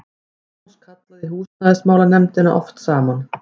Magnús kallaði húsnæðismálanefndina oft saman.